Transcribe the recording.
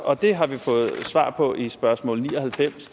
og det har vi fået svar på i spørgsmål ni og halvfems